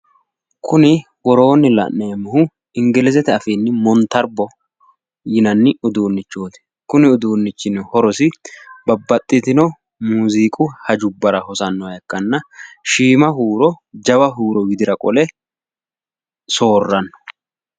Kuni woroonni la'neemmohu ingilizete afiinni montarbbo yinanni uduunnichooti. kuni uduunnichi horosino shiima huuro jawa huuro widira qole soorranno.